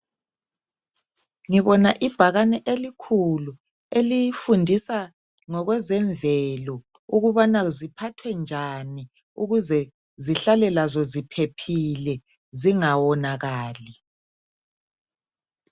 Ngibona ibhakane elikhulu elifundisa ngokwezemvelo ukubana ziphathwe njani ukuze zihlale lazo ziphephile zingawonakali .